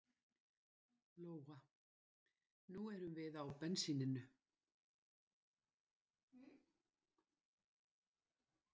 Lóa: Nú erum við á bensíninu?